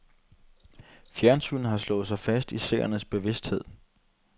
Fjernsynet har slået sig fast i seernes bevidsthed.